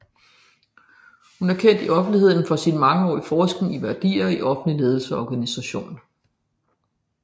Hun er kendt i offentligheden for sin mangeårige forskning i værdier i offentlig ledelse og organisation